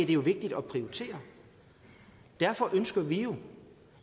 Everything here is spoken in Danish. det jo vigtigt at prioritere derfor ønsker vi jo